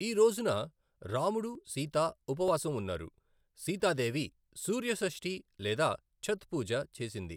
ఈ రోజున రాముడు, సీత ఉపవాసం ఉన్నారు, సీతాదేవి సూర్య షష్ఠి లేదా ఛత్ పూజ చేసింది.